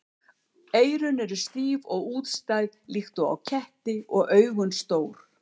Eyrun eru stíf og útstæð líkt og á ketti og augun stór.